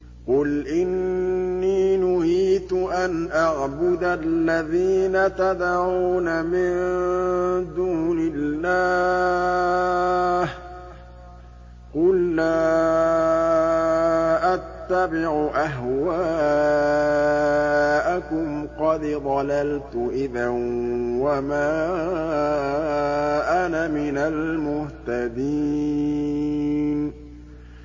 قُلْ إِنِّي نُهِيتُ أَنْ أَعْبُدَ الَّذِينَ تَدْعُونَ مِن دُونِ اللَّهِ ۚ قُل لَّا أَتَّبِعُ أَهْوَاءَكُمْ ۙ قَدْ ضَلَلْتُ إِذًا وَمَا أَنَا مِنَ الْمُهْتَدِينَ